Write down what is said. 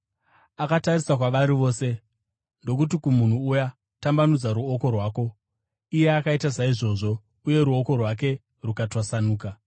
Akatarisa kwavari vose, ndokuti kumunhu uya, “Tambanudza ruoko rwako.” Iye akaita saizvozvo, uye ruoko rwake rukatwasanuka.